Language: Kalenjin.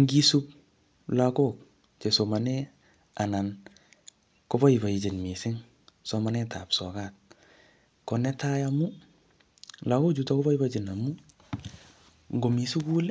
Ngisup lagok che somane, anan ko boibochin missing somanet ap sokat. Ko netai amu, lagok chutok koboibochin amuuu, ngomii sukul,